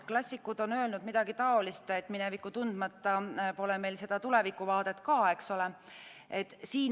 Klassikud on öelnud midagi taolist, et minevikku tundmata pole meil ka tulevikuvaadet.